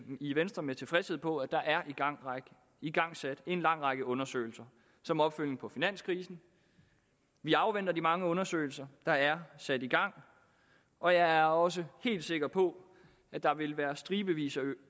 i venstre med tilfredshed på at der er igangsat en lang række undersøgelser som opfølgning på finanskrisen vi afventer de mange undersøgelser der er sat i gang og jeg er også helt sikker på at der vil være stribevis